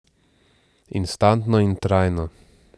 Instantno in trajno.